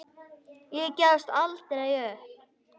Ég gefst aldrei upp.